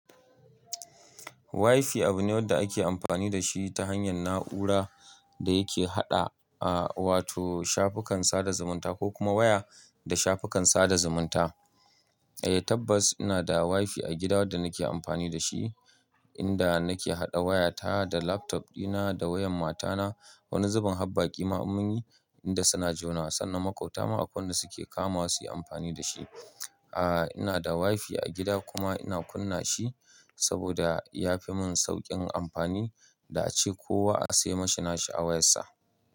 WiFi abu ne wanda ake amfani da shi ta hanyar na'ura da yake haɗa, a, wato shafukan sada zumunta ko kuma waya da shafukan sada zumunta. Eh tabbas ina da WiFi a gida wadda nake amfani da shi, inda nake haɗa waya ta da laptop dina da wayan matana. Wani zubin habbaki in munyi inda suna jona sannan makwabta ma akwai wadda suke kamawa su yi amfani da shi. A, ina da WiFi a gida kuma ina kunna shi saboda ya fi mun sauƙin amfani da ace kowa a sai mashi nashi a wayar sa.